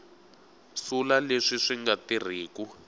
sula leswi swi nga tirhiku